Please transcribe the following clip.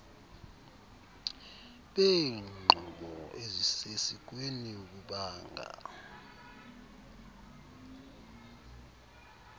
beenqobo ezisesikweni bubanga